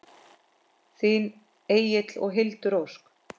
Þín Egill og Hildur Ósk.